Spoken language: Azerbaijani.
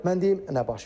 Mən deyim nə baş verir.